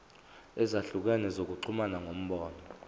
ezahlukene zokuxhumana ngomlomo